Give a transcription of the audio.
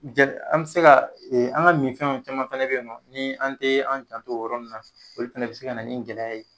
An bɛ se ka an ga min fɛnw, caman fɛnɛ be yen nɔ ni an te, an janto o yɔrɔ nunnu na, olu fana bi se kana nin gɛlɛya ye